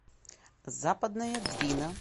западная двина